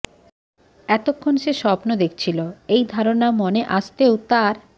এতক্ষণ সে স্বপ্ন দেখছিল এই ধারণা মনে আসতেও তার